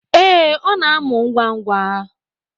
Ee, ọ na-amụ ngwa ngwa